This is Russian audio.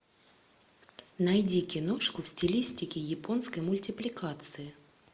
найди киношку в стилистике японской мультипликации